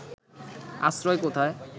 আশ্রয় কোথায়